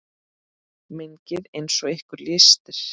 Mengið eins og ykkur lystir.